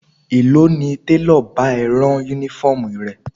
Èló ni télọ̀ bá ẹ rán Únífọ́ọ̀mù rẹ?